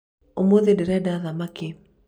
ũmũthĩ ndĩrenda thamaki